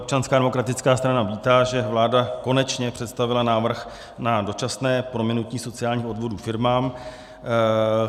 Občanská demokratická strana vítá, že vláda konečně představila návrh na dočasné prominutí sociálních odvodů firmám.